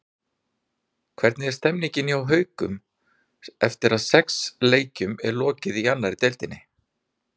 Hvernig er stemmingin hjá Haukunum eftir að sex leikjum er lokið í annarri deildinni?